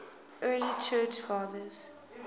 early church fathers